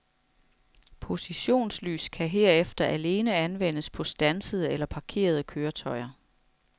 Positionslys kan herefter alene anvendes på standsede eller parkerede køretøjer.